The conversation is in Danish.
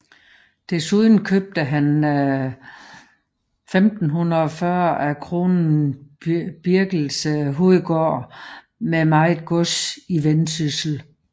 Desuden købte han 1540 af kronen Birkelse hovedgård med meget gods i Vendsyssel